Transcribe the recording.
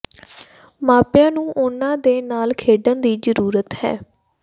ਮਾਪਿਆਂ ਨੂੰ ਉਨ੍ਹਾਂ ਦੇ ਨਾਲ ਖੇਡਣ ਦੀ ਜ਼ਰੂਰਤ ਹੈ